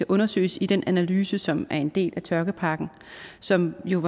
undersøges i den analyse som er en del af tørkepakken som jo